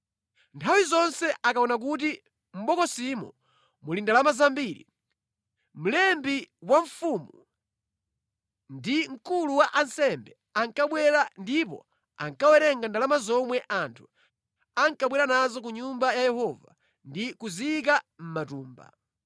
Nthawi zonse akaona kuti mʼbokosimo muli ndalama zambiri, mlembi wa mfumu ndi mkulu wa ansembe ankabwera ndipo ankawerenga ndalama zomwe anthu ankabwera nazo ku Nyumba ya Yehova ndi kuziyika mʼmatumba.